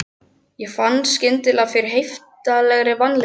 Ég fann skyndilega fyrir heiftarlegri vanlíðan.